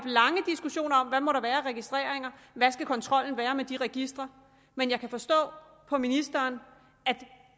lange diskussioner om hvad der må være af registreringer og hvad kontrollen skal være med de registre men jeg kan forstå på ministeren at